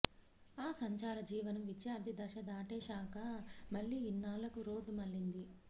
ఆ సంచార జీవనం విద్యార్థి దశ దాటేశాక మళ్లీ ఇన్నాళ్లకు రోడ్డు మళ్లింది